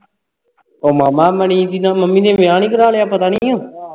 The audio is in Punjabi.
ਉਹ ਮਾਮਾ ਮਣੀ ਦੀ ਮੰਮੀ ਨੇ ਵਿਆਹ ਨਹੀਂ ਕਰਵਾ ਲੇਆ ਪਤਾ ਨਹੀਂ ਆ